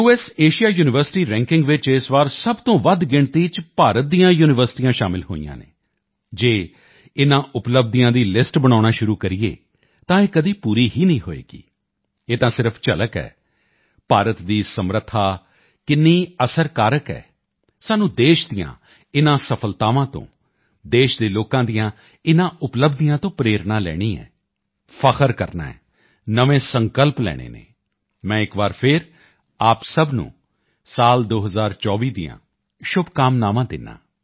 Asia university ranking ਵਿੱਚ ਇਸ ਵਾਰ ਸਭ ਤੋਂ ਵੱਧ ਗਿਣਤੀ ਵਿੱਚ ਭਾਰਤੀ ਯੂਨੀਵਰਸਿਟੀਆਂ ਸ਼ਾਮਲ ਹੋਈਆਂ ਹਨ ਜੇ ਇਨ੍ਹਾਂ ਉਪਲਬਧੀਆਂ ਦੀ ਲਿਸਟ ਬਣਾਉਣਾ ਸ਼ੁਰੂ ਕਰੀਏ ਤਾਂ ਇਹ ਕਦੇ ਪੂਰੀ ਹੀ ਨਹੀਂ ਹੋਵੇਗੀ ਇਹ ਤਾਂ ਸਿਰਫ ਝਲਕ ਹੈ ਭਾਰਤ ਦੀ ਸਮਰੱਥਾ ਕਿੰਨੀ ਅਸਰ ਕਾਰਕ ਹੈ ਸਾਨੂੰ ਦੇਸ਼ ਦੀਆਂ ਇਨ੍ਹਾਂ ਸਫਲਤਾਵਾਂ ਤੋਂ ਦੇਸ਼ ਦੇ ਲੋਕਾਂ ਦੀਆਂ ਇਨ੍ਹਾਂ ਉਪਲਬਧੀਆਂ ਤੋਂ ਪ੍ਰੇਰਣਾ ਲੈਣੀ ਹੈ ਫਖ਼ਰ ਕਰਨਾ ਹੈ ਨਵੇਂ ਸੰਕਲਪ ਲੈਣੇ ਹਨ ਮੈਂ ਇਕ ਵਾਰ ਫਿਰ ਆਪ ਸਭ ਨੂੰ 2024 ਦੀਆਂ ਸ਼ੁਭਕਾਮਨਾਵਾਂ ਦਿੰਦਾ ਹਾਂ